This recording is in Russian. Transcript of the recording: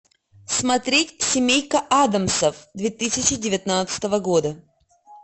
смотреть семейка адамсов две тысячи девятнадцатого года